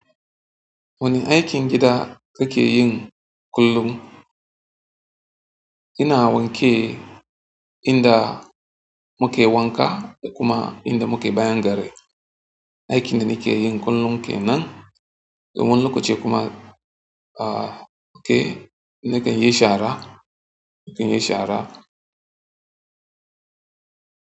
Wane aikin gida kake yin kullum? Ina wanke inda muke wanka da kuma inda muke bayan gari. Aikin da nike yin kullum kenan. To wani lokaci kuma ah nakanyi shara, nakanyi shara.